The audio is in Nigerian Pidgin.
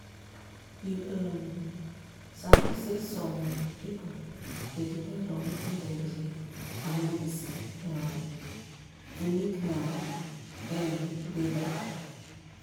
you um sabi saysome pipu dey depend on wetin dem believe and medicine um to make um dem dey beta.